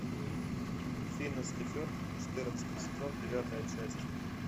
финес и ферб четырнадцатый сезон девятая часть